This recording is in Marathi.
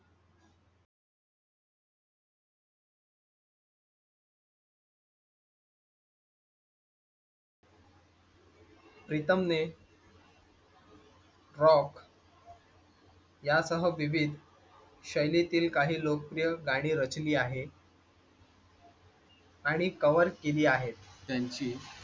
प्रीतम ने. rock यासह विविध शैलीतील काही लोकप्रिय गाणी रचली आहे . आणि cover केली आहेत त्यांची.